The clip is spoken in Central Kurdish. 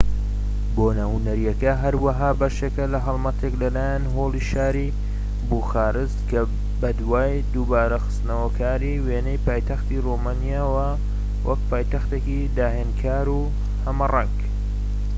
بۆنە هونەرییەکە هەروەها بەشێکە لە هەڵمەتێک لە لایەن هۆڵی شاری بوخارست کە بەدوای دووبارە خستنەوەکاری وێنەی پایتەختی ڕۆمانیایە وەک پایتەختێکی داهێنانکار و هەمەڕەنگ